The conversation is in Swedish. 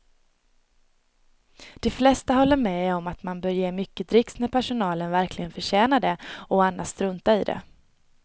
De flesta håller med om att man bör ge mycket dricks när personalen verkligen förtjänar det och annars strunta i det.